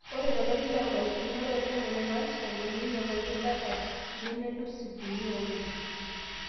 Ore tolari lonkalifuni are otomon onaapishana , neinyang'uaki data nemelus ip uni oonom.